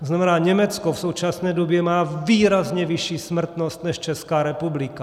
To znamená, Německo v současné době má výrazně vyšší smrtnost než Česká republika.